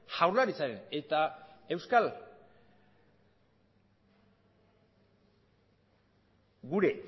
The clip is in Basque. jaurlaritzaren eta gure